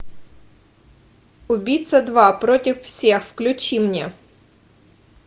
убийца два против всех включи мне